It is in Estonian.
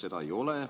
Seda ei ole.